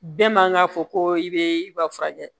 Bɛɛ man ka fɔ ko i bɛ i ba furakɛ